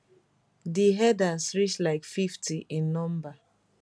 di herders reach like 50 in number